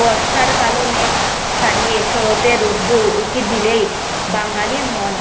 বর্ষার কালো মেঘ সারিয়ে শরতের রোদ্দুর উকি দিলেই বাঙালির মন